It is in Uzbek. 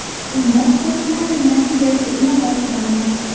Unda sportchilarning natijasi inobatga olingan.